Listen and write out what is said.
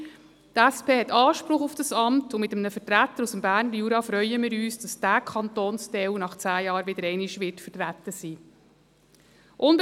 Die SP hat Anspruch auf dieses Amt, und wir freuen uns, dass mit einem Vertreter aus dem Berner Jura dieser Kantonsteil nach zehn Jahren wieder einmal vertreten sein wird.